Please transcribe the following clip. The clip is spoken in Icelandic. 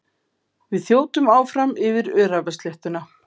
Við þjótum áfram yfir öræfasléttuna.